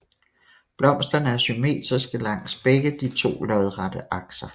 Blomsterne er symmetriske langs begge de to lodrette akser